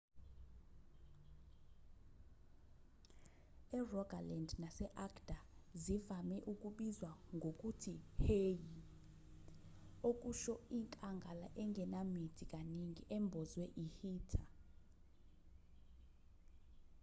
erogaland nase-agder zivame ukubizwa ngokuthi hei okusho inkangala engenamithi kaningi embozwe i-heather